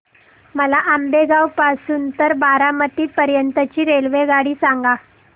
मला आंबेगाव पासून तर बारामती पर्यंत ची रेल्वेगाडी सांगा